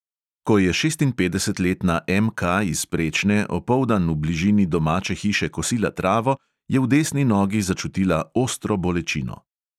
Ko je šestinpetdesetletna M K iz prečne opoldan v bližini domače hiše kosila travo, je v desni nogi začutila ostro bolečino.